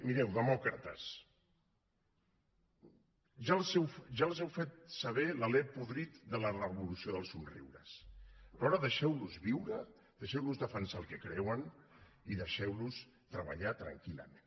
mireu demòcrates ja els heu fet saber l’alè podrit de la revolució dels somriures però ara deixeu los viure deixeu los defensar el que creuen i deixeu los treballar tranquil·lament